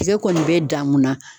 Pase e kɔni bɛ dan mun na